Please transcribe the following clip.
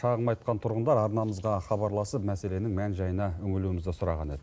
шағым айтқан тұрғындар арнамызға хабарласып мәселенің мән жайына үңілуімізді сұраған еді